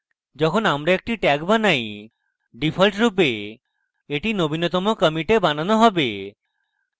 যখন আমরা একটি tag বানাই ডিফল্টরূপে এটি নবীনতম কমিটে বানানো হবে